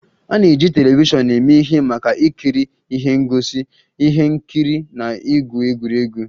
A na-eji telivishọn eme ihe maka ikiri ihe ngosi, ihe nkiri na igwu egwuregwu